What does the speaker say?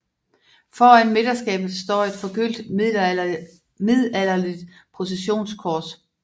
Foran midterskabet står et forgyldt middelalderligt processionskors